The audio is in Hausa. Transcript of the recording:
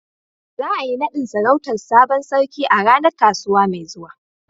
Za a yi naɗin sarautar sabon sarki a ranar kasuwa mai zuwa.